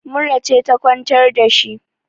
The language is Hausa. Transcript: mura ce ta kwantar da shi